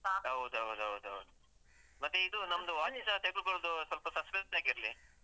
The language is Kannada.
ಹೌದೌದು ಹೌದೌದು. ಮತ್ತೆ ಇದು ನಮ್ದು. watch ತೆಗೆದುಕೊಳ್ಳುದು ಸ್ವಲ್ಪ suspense ಆಗಿರ್ಲೀ.